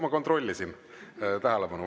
Ma kontrollisin tähelepanu.